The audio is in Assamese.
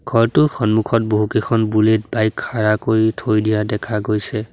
ঘৰটোৰ সন্মুখত বহুকেইখন বুলেট বাইক খাৰা কৰি থৈ দিয়া দেখা গৈছে।